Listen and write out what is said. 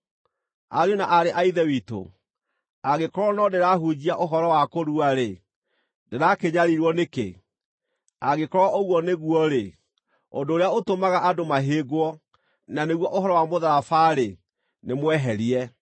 Ariũ na aarĩ a Ithe witũ, angĩkorwo no ndĩrahunjia ũhoro wa kũrua-rĩ, ndĩrakĩnyariirwo nĩkĩ? Angĩkorwo ũguo nĩguo-rĩ, ũndũ ũrĩa ũtũmaga andũ mahĩngwo, na nĩguo ũhoro wa mũtharaba-rĩ, nĩmweherie.